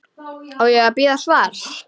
Á ég að bíða svars?